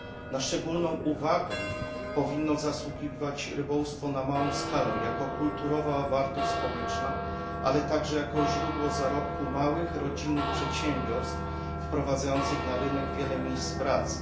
Na szczególną uwagę powinno zasługiwać rybołówstwo na małą skalę jako kulturowa wartość społeczna, ale także jako źródło zarobku małych, rodzinnych przedsiębiorstw wprowadzających na rynek wiele miejsc pracy.